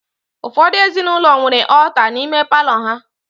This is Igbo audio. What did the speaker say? Ụfọdụ ezinụlọ nwere ọọta n'ime palọ ha